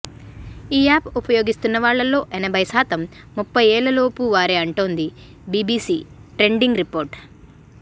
ఈ యాప్ ఉపయోగిస్తున్నవాళ్లలో ఎనభైశాతం ముప్ఫైఏళ్లు లోపు వారే అంటోంది బీబీసీ ట్రెండింగ్ రిపోర్టు